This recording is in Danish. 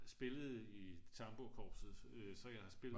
jeg spillede i tamburkorpset så jeg har spillet